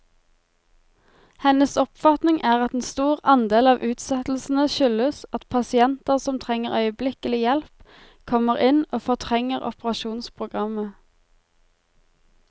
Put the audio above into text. Hennes oppfatning er at en stor andel av utsettelsene skyldes at pasienter som trenger øyeblikkelig hjelp, kommer inn og fortrenger operasjonsprogrammet.